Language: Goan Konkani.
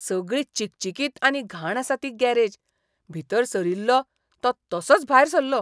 सगळी चिकचिकीत आनी घाण आसा ती गॅरेज, भितर सरिल्लों तो तसोंच भायर सल्लों.